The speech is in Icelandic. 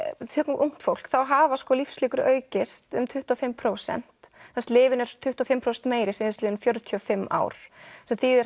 tökum ungt fólk þá hafa lífslíkur aukist um tuttugu og fimm prósent lyfin eru tuttugu og fimm prósentum meiri síðastliðin fjörutíu og fimm ár sem þýðir